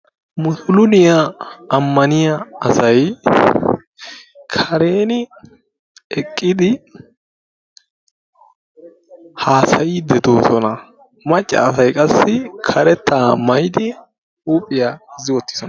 Musulumiyaa ammaniyaa asay kareni eqqidi haasayidi deosona. macca asay qassi karetta maayidi huuphiyaa gozi uttidisona.